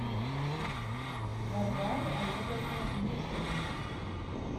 варваре олеговне нуждиной